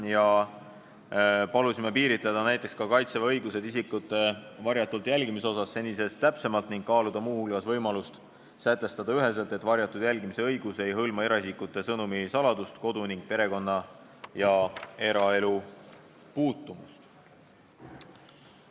Palusime senisest täpsemalt piiritleda näiteks Kaitseväe õigusi isikute varjatult jälgimisel ning kaaluda muu hulgas võimalust üheselt sätestada, et varjatult jälgimise õigus ei hõlma eraisikute sõnumi saladust, kodu ning perekonna- ja eraelu puutumatust.